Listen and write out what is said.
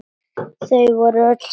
Þau voru öll saman.